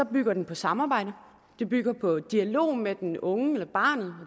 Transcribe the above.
bygger den på samarbejde den bygger på dialog med den unge eller barnet og